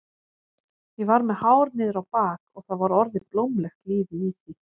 Ég var með hár niður á bak og það var orðið blómlegt lífið í því.